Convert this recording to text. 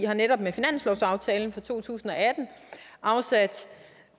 har netop med finanslovsaftalen for to tusind og atten afsat